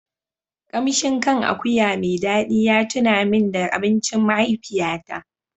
Kamshin kan akuya mai dadi ya tuna min da abincin mahaifiyata.